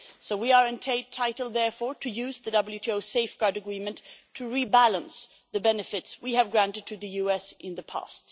We are therefore entitled to use the WTO safeguard agreement to rebalance the benefits we have granted to the US in the past.